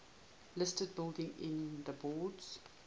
listed buildings in the borders